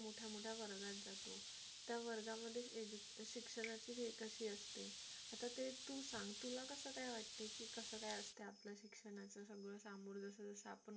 मोठ्या मोठ्या वर्गात जातो त्या वर्गामध्ये शिक्षणाचे जे असते आता ते तू सांग तुला कसं काय वाटते की कसं काय असते आपल्या शिक्षणाचं सगळं सामोरे जसं जसं आपण मोठं